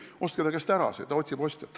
Ostke tema käest see ära, ta otsib ostjat.